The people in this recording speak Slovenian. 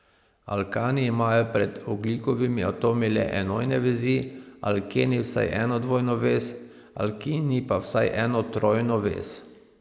Alkani imajo med ogljikovimi atomi le enojne vezi, alkeni vsaj eno dvojno vez, alkini pa vsaj eno trojno vez.